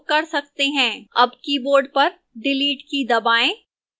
अब keyboard पर delete की दबाएं